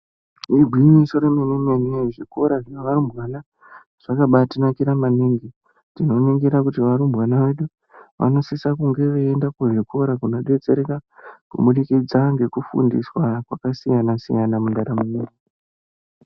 Igwinyiso remene-mene, zvikoro zvearumbwana zvakabati nakira maningi. Tinoningira kuti varumbwana vedu, vanosisa kunge veienda kuzvikora, kunodetsereka kuburikidza ngekufundiswa kwakasiyana-siyana mundaramo yedu.